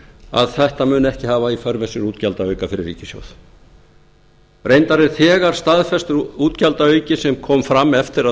að þetta muni ekki hafa í för með sér útgjaldaauka fyrir ríkissjóð reyndar er þegar staðfestur útgjaldaauki sem kom fram eftir að